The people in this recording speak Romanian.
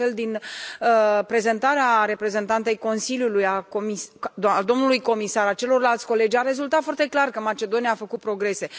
De altfel, din prezentarea reprezentantei Consiliului, a domnului comisar, a celorlalți colegi a rezultat foarte clar că Macedonia a făcut progrese.